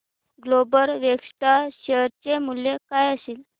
global Vectra share चे मूल्य काय असेल